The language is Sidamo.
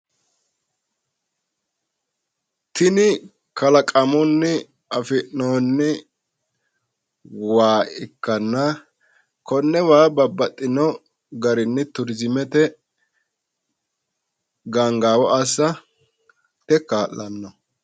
Tini kalaqamunni affi'noonni waa ikkanna, konne waa babbaxxino garinni turizimete gangaawa assate kaa'lanno.